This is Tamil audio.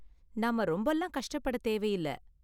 நாம ரொம்பலாம் கஷ்டப்பட தேவையில்ல!